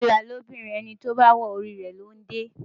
Fìlà lobìnrin, ẹni tó bá wọ orí rẹ̀ ló ń dé e.